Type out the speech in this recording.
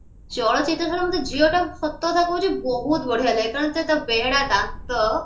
ଚଳଚିତ୍ର ଛାଡିକି ମତେ ଝିଅ ଟାକୁ ସତକଥା କହୁଛି ବହୁତ ବଢିଆ ଲାଗେ କାରଣ ସେ ତା ବେହେଡା ଦାନ୍ତ